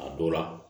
A dɔw la